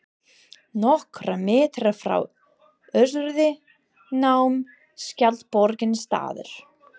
Nokkra metra frá Össuri nam skjaldborgin staðar.